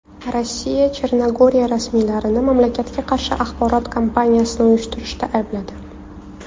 Rossiya Chernogoriya rasmiylarini mamlakatga qarshi axborot kampaniyasini uyushtirishda aybladi.